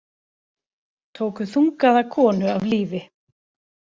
Tóku þungaða konu af lífi